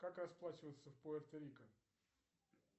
как расплачиваться в пуэрто рико